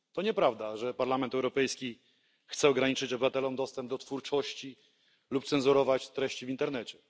To nieprawda, że Parlament Europejski chce ograniczyć obywatelom dostęp do twórczości lub cenzurować treści w internecie.